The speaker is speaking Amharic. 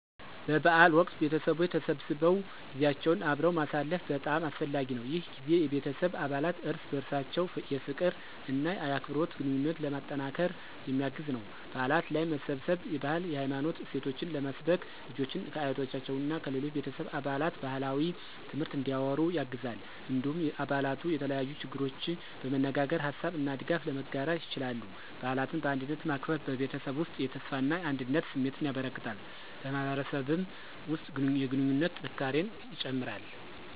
በበዓል ወቅት ቤተሰቦች ተሰብስበው ጊዜያቸውን አብረው ማሳለፍ በጣም አስፈላጊ ነው። ይህ ጊዜ የቤተሰብ አባላት እርስ በርሳቸው የፍቅር እና የአክብሮት ግንኙነትን ለማጠናከር የሚያግዝ ነው። በዓላት ላይ መሰባሰብ የባህልና የሃይማኖት እሴቶችን ለመስበክ፣ ልጆችን ከአያቶቻቸው እና ከሌሎች ቤተሰብ አባላት ባህላዊ ትምህርት እንዲያወሩ ያግዛል። እንዲሁም አባላቱ የተለያዩ ችግሮችን በመነጋገር ሀሳብ እና ድጋፍ ለመጋራት ይችላሉ። በዓላትን በአንድነት ማክበር በቤተሰብ ውስጥ የተስፋና አንድነት ስሜትን ያበረክታል፣ በማህበረሰብም ውስጥ የግንኙነት ጥንካሬን ይጨምራል።